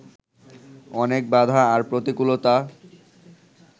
অনেক বাধা আর প্রতিকূলতা